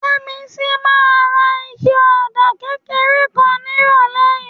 Yẹ́misí máa ra ike ọ̀dà kékeré kan nírọ̀lẹ́ yìí